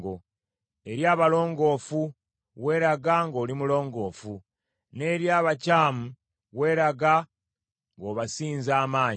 Eri abalongoofu weeraga ng’oli mulongoofu, n’eri abakyamu weeraga ng’obasinza amagezi.